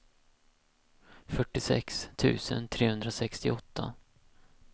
fyrtiosex tusen trehundrasextioåtta